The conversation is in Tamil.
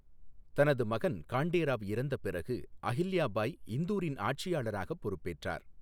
தனது மகன் காண்டே ராவ் இறந்த பிறகு அஹில்யா பாய் இந்தூரின் ஆட்சியாளராகப் பொறுப்பேற்றார்.